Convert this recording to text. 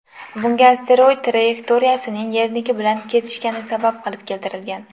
Bunga asteroid trayektoriyasining Yerniki bilan kesishgani sabab qilib keltirilgan.